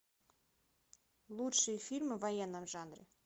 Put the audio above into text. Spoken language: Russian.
лучшие фильмы в военном жанре